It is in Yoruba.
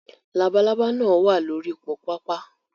Labalábá náà wà lórí po pápá